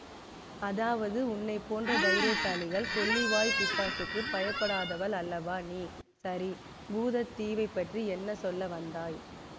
அதாவது உன்னை போன்ற தைரியசாலிகள் கொள்ளிவாய்ப் பிசாசுக்குப் பயப்படாதவள் அல்லவா நீ சரி பூதத் தீவைப்பற்றி என்ன சொல்ல வந்தாய்